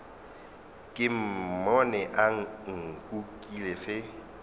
ke mmone a nkukile ge